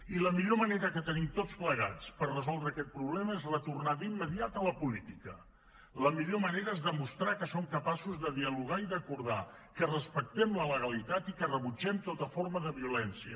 i la millor manera que tenim tots plegats per resoldre aquest problema és retornar d’immediat a la política la millor manera és demostrar que som capaços de dialogar i d’acordar que respectem la legalitat i que rebutgem tota forma de violència